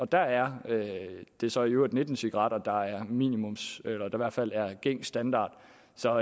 der er det så i øvrigt nitten cigaretter der er minimum eller i hvert fald gængs standard så